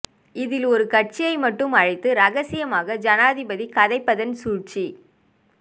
இதில் ஒரு கட்சியை மட்டும் அழைத்து ரகசியமாக ஜனாதிபதி கதைப்பதன் சூழ்ச்சி